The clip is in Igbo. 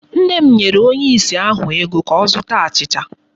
Nna m nyere onye ìsì ahụ ego ka ọ zụta achịcha.